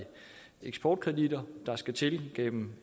eksportkreditter der skal til gennem